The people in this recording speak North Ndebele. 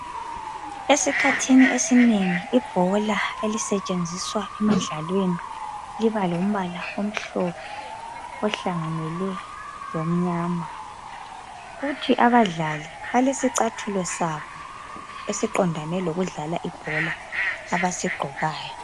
Esikhathini esinengi ibhola elisetshenziswa emidlalweni liba lombala omhlophe ohlanganele lomnyama. Kuthi abadlali balesicathulo sabo esiqondane lokudlala ibhola abasigqokayo.